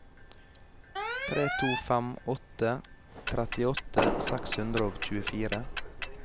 tre to fem åtte trettiåtte seks hundre og tjuefire